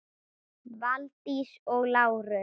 Valdís og Lárus.